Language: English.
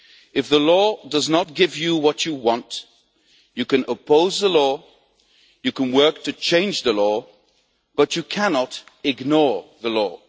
If the law does not give you what you want, you can oppose the law, you can work to change the law, but you cannot ignore the law.